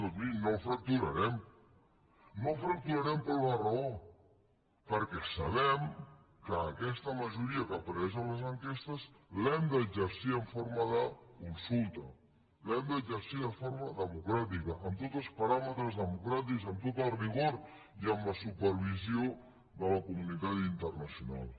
doncs mirin no el fracturarem no el fracturarem per una raó perquè sabem que aquesta majoria que apareix en les enquestes l’hem d’exercir en forma de consulta l’hem d’exercir de forma democràtica amb tots els paràmetres democràtics amb tot el rigor i amb la supervisió de la comunitat internacional